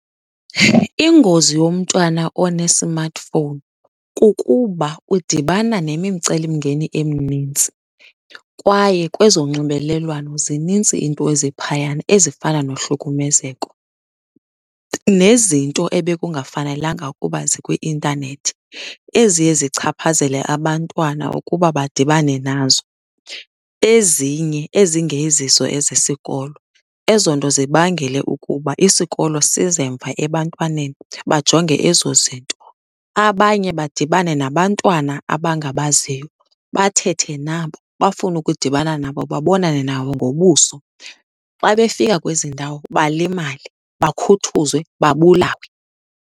Ingozi yomntwana one-smartphone kukuba udibana nemimcelimngeni eminintsi kwaye kwezonxibelelwano zinintsi iinto eziphayana ezifana nohlukumezeko nezinto ebekungafanelanga ukuba zikwi-intanethi eziye zichaphazele abantwana ukuba badibane nazo. Ezinye ezingezizo ezesikolo, ezo nto zibangele ukuba isikolo size mva ebantwaneni, bajonge ezo zinto. Abanye badibane nabantwana abangabaziyo, bathethe nabo, bafune ukudibana nabo babonane nabo ngobuso. Xa befika kwezi ndawo balimale bakhuthuzwe, babulawe.